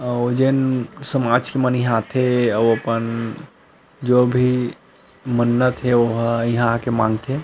अउ जेन समाज के मन इहाँ आथे अउ अपन जो भी मन्नत हे ओहा इहाँ आके मांगथे।